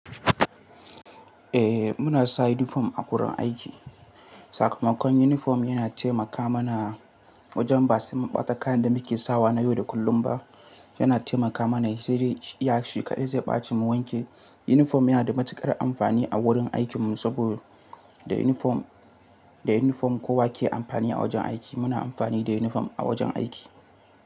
Eh muna sa uniform a wurin aiki. Sakamakon uniform yana taimaka mana wajen ba sai mun ɓata kayan da muke sawa na yau da kullum ba. Yana taimaka mana, ya shi kaɗai zai ɓace mu wanke. Uniform yana da matuƙar amfani a wurin aikinmu saboda da uniform, da uniform kowa ke amfani a wajen aiki. Muna amfani da uniform a wajen aiki.